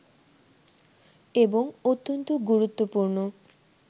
এবং অত্যন্ত গুরুত্বপূর্ণ